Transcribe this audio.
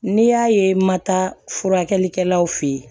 N'i y'a ye i ma taa furakɛlikɛlaw fe ye